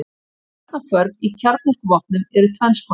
Kjarnahvörf í kjarnorkuvopnum eru tvenns konar.